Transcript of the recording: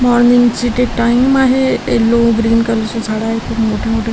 Morning चे ते time आहे यल्लो ग्रीन कलर ची झाड आहेत खूप मोठी मोठी.